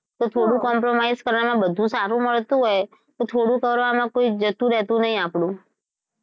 તો થોડું compromise કરવામાં બધું સારું મળતું હોય તો થોડું કરવામાં કોઈ જતું રહેતું નથી આપડું.